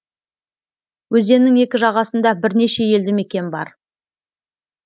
өзеннің екі жағасында бірнеше елді мекен бар